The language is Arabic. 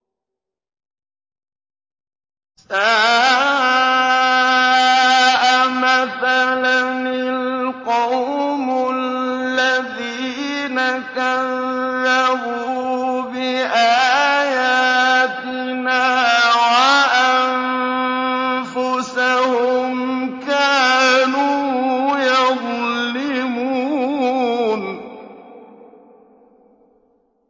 سَاءَ مَثَلًا الْقَوْمُ الَّذِينَ كَذَّبُوا بِآيَاتِنَا وَأَنفُسَهُمْ كَانُوا يَظْلِمُونَ